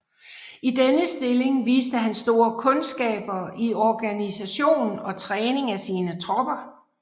I denne stilling viste han store kundskaber i organisation og træning af sine tropper